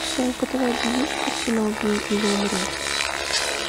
в твоем каталоге есть картина убей или умри